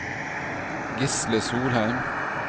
Gisle Solheim